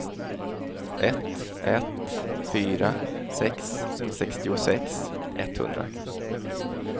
ett ett fyra sex sextiosex etthundra